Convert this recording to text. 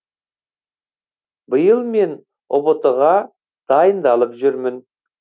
биыл мен ұбт ға дайындалып жүрмін